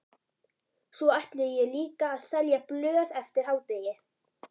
Svo ætla ég líka að selja blöð eftir hádegi.